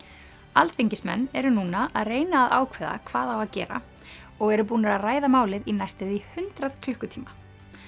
alþingismenn eru núna að reyna að ákveða hvað á að gera og eru búnir að ræða málið í næstum því hundrað klukkutíma